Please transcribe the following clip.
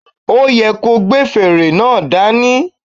O yẹ ko gbé fèrè náà dání